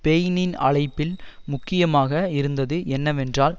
பெயினின் அழைப்பில் முக்கியமாக இருந்தது என்னவென்றால்